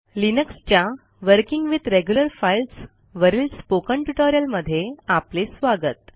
लिनक्सच्या working with regular files वरील spoken ट्युटोरियलमध्ये आपले स्वागत